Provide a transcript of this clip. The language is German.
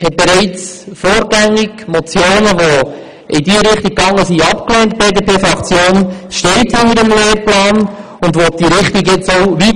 Die BDP-Fraktion hat bereits vorgängig Motionen, die in diese Richtung gingen, abgelehnt.